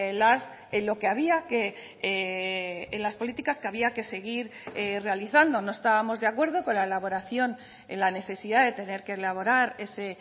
las en lo que había que en las políticas que había que seguir realizando no estábamos de acuerdo con la elaboración en la necesidad de tener que elaborar ese